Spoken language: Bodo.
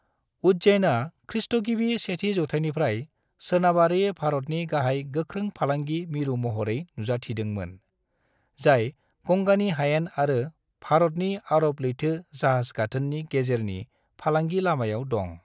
उज्जैनआ खृ. गिबि सेथि जौथाइनिफ्राय सोनाबारि भारतनि गाहाय गोख्रों फालांगि मिरु महरै नुजाथिदोंमोन, जाय गंगानि हायेन आरो भारतनि अरब लैथो जाहाज गाथोननि गेजेरनि फालांगि लामायाव दं।